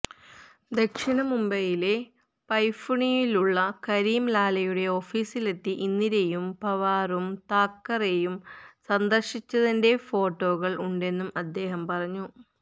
ദക്ഷിണ മുംബൈയിലെ പൈഥുണിയിലുള്ള കരിം ലാലയുടെ ഓഫിസിലെത്തി ഇന്ദിരയും പവാറും താക്കറെയും സന്ദര്ശിച്ചതിൻെറ ഫോട്ടോകള് ഉണ്ടെന്നും അദ്ദേഹം പറഞ്ഞു